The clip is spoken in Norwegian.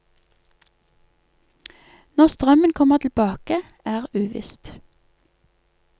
Når strømmen kommer tilbake, er uvisst.